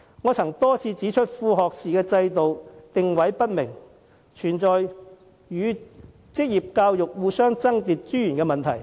我曾多次指出，副學士制度定位不明，導致與職業教育互相爭奪資源的問題。